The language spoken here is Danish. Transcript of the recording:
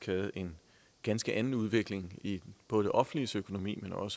været en ganske anden udvikling i både det offentliges økonomi og